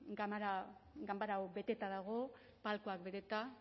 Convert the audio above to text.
ganbera hau beteta dago palkoak beteta